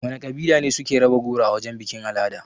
Wana kabila ne suke raba goro a wajan bikin-al'ada?